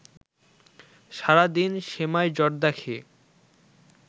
সারাদিন সেমাই জর্দা খেয়ে